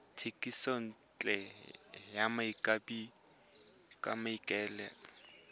thekisontle ya tlhapi ka maikaelelo